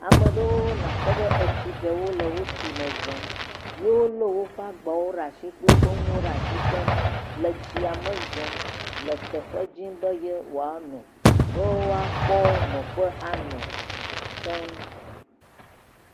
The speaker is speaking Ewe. Ame ɖewo nakpɔ be etsi ɖewo le wotsi me zɔm, wolé woƒe agbawo ɖe asi kple woƒe nuwo ɖe asi keŋ le tsia me zɔm le teƒe dzim be yewoanɔ ne woakpɔ nɔƒe anɔ keŋ.